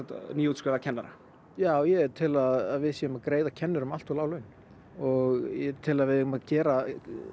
nýútskrifaða kennara já ég tel að við séum að greiða kennurum allt of lág laun og ég tel að við eigum að gera